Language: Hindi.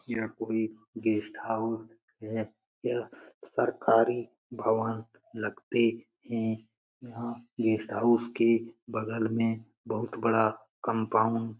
यह कोई गेस्ट हाउस है। यह सरकारी भवन लगती है। यह गेस्ट हाउस के बगल में बहुत बड़ा कंपाउंड --